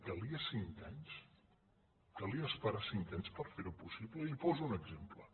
calien cinc anys calia esperar cinc anys per fer ho possible i li’n poso un exemple